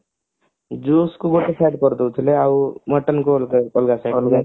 ଗୋଟେ ସିଆଡେ କରିଦେଉଥିଲେ ଆଉ mutton କୁ ଅଲଗା